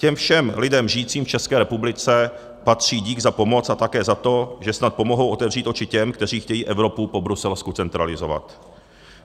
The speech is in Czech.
Těm všem lidem žijícím v České republice patří dík za pomoc a také za to, že snad pomohou otevřít oči těm, kteří chtějí Evropu po bruselsku centralizovat.